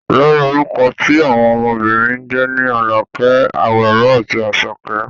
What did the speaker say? Lára orúkọ tí àwọn ọmọbìnrin ń jẹ́ ni Àlàkẹ́, Àwẹ̀ró àti Àṣàkẹ́